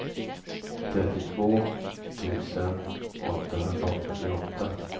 trettiotvå tusen åttahundraåttioåtta